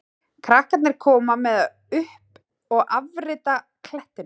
Krakkarnir koma með upp að afgirta klettinum.